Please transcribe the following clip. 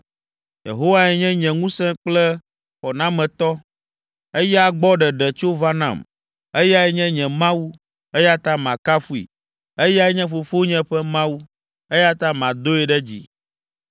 “Yehowae nye nye ŋusẽ kple xɔnametɔ, eya gbɔ ɖeɖe tso va nam. Eyae nye nye Mawu, eya ta makafui. Eyae nye fofonye ƒe Mawu, eya ta madoe ɖe dzi.